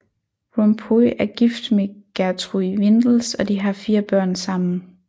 Rompuy er gift med Geertrui Windels og de har fire børn sammen